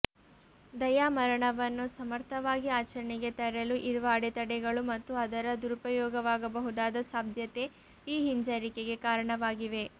ದಯಾಮರಣವನ್ನು ಸಮರ್ಥವಾಗಿ ಆಚರಣೆಗೆ ತರಲು ಇರುವ ಅಡೆತಡೆಗಳು ಮತ್ತು ಅದರ ದುರುಪಯೋಗವಾಗಬಹುದಾದ ಸಾಧ್ಯತೆ ಈ ಹಿಂಜರಿಕೆಗೆ ಕಾರಣವಾಗಿವೆ